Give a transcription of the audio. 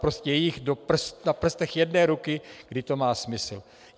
Prostě je jich na prstech jedné ruky, kdy to má smysl.